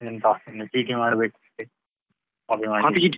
ಎಂತ ಇನ್ನು ಚೀಟಿ ಮಾಡ್ಬೇಕು ಅಷ್ಟೆ copy ಮಾಡ್ಲಿಕ್ಕೆ.